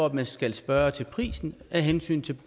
at man skal spørge til prisen af hensyn til